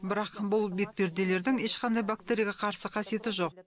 бірақ бұл бетперделердің ешқандай бактерияға қарсы қасиеті жоқ